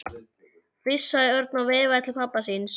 flissaði Örn og veifaði til pabba síns.